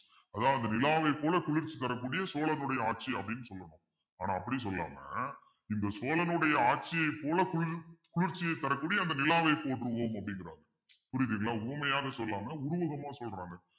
அதாவது நிலாவைப் போல குளிர்ச்சி தரக்கூடிய சோழனுடைய ஆட்சி அப்படின்னு சொல்லணும் ஆனா அப்படி சொல்லாம இந்த சோழனுடைய ஆட்சியைப் போல குளிர்~ குளிர்ச்சியைத் தரக்கூடிய அந்த நிலாவை போற்றுவோம் அப்படின்றாங்க புரியுதுங்களா உவமையாக சொல்லாம உருவகமா சொல்றாங்க